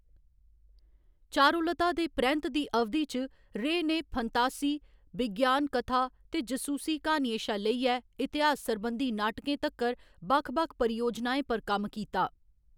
चारुलता दे परैंत्त दी अवधि च, रे ने फंतासी, विज्ञान कथा ते जसूसी क्हानियें शा लेइयै इतिहास सरबंधी नाटकें तक्कर बक्ख बक्ख परियोजनाएं पर कम्म कीता।